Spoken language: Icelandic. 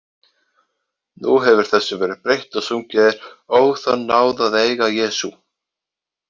Nú hefur þessu verið breytt og sungið er: Ó, þá náð að eiga Jesú.